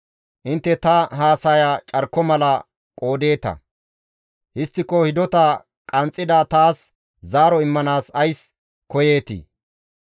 Intte ta haasaya carko mala qoodeeta; histtiko hidota qanxxida taas zaaro immanaas ays koyeetii?